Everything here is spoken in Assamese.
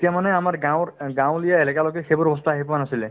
তেতিয়া মানে আমাৰ গাঁৱৰ অ গাঁৱলীয়া এলেকালৈকে সেইবোৰ বস্তু আহিয়ে পোৱা নাছিলে